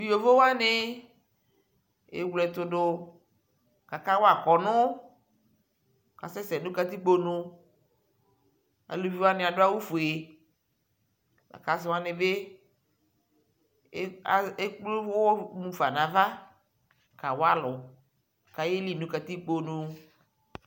Tu yovowani ewle ɛtʋ dʋ kakawa kɔnu kʋ asɛsɛ nʋ katikpo nʋ Aluviwani adʋ awu fue lakʋ asiwani bι ekple uwɔ yafa nʋ ava kawa alʋ kʋ ayeli nʋ katikponʋ